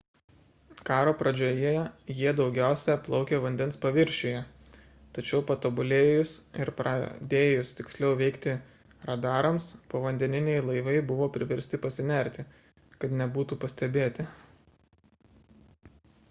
karo pradžioje jie daugiausia plaukė vandens paviršiuje tačiau patobulėjus ir pradėjus tiksliau veikti radarams povandeniniai laivai buvo priversti pasinerti kad nebūtų pastebėti